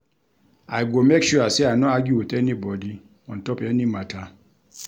I go make sure sey I no argue wit anybodi on top any mata.